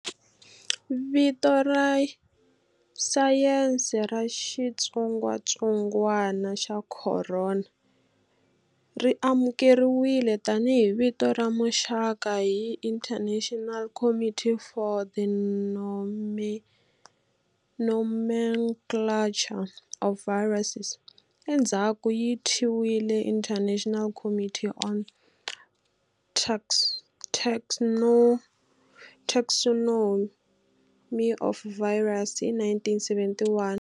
Vito ra sayense ra xitsongatsongwana xa khorona ri amukeriwile tanihi vito ra muxaka hi International Committee for the Nomenclature of Viruses, endzhaku yi thyiwile International Committee on Taxonomy of Viruses, hi 1971.